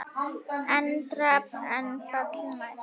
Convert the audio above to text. EN DRAMB ER FALLI NÆST!